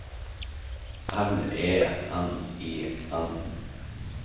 L E N I N